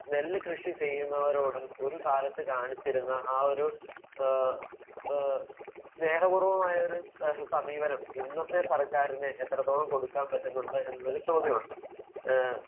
Speaker 1 നെല്ല് കൃഷി ചെയ്യുന്നവരോട് ഒരു കാലത്ത് കാണിച്ചിരുന്നു ആ ഒരു ഏഹ് ഏഹ് സ്നേഹ പൂർവ്വമായൊരുസമീപനം ഇന്നത്തെ സർക്കാരിന് എത്രത്തോളം കൊടുക്കാൻ പറ്റുന്നുണ്ട് എന്നത് ഒരു ചോദ്യമാണ്. ഏഹ്